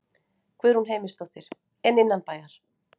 Guðrún Heimisdóttir: En innanbæjar?